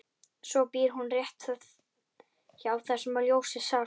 Svo býr hún rétt hjá þar sem ljósið sást.